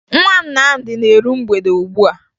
Nwa Nnamdi na-eru mgbede ugbua